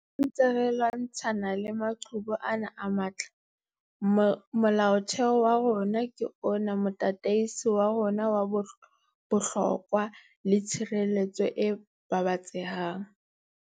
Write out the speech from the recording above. Ha re ntse re lwantshana le maqhubu ana a matla, Molaotheo wa rona ke ona motataisi wa rona wa bohlokwa le tshireletso e babatsehang.